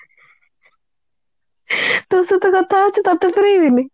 ତୋ ସହିତ କଥା ହଉଛି ତତେ କରିବିନି